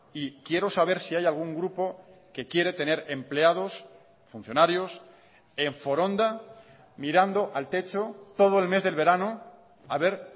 y quiero saber si hay algún grupo que quiere tener empleados funcionarios en foronda mirando al techo todo el mes del verano a ver